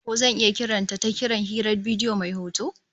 Ko zan iya kiran ta ta kiran hirar bidiyo mai hoto?